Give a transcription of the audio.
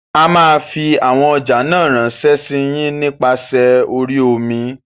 A máa fi àwọn ọjà náà ránsé sí yín nípa sè orí omi.